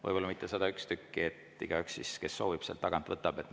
Võib-olla mitte 101 tükki, et igaüks, kes soovib, saaks selle sealt tagant võtta.